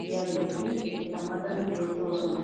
diyaageeti eta matan beetoosona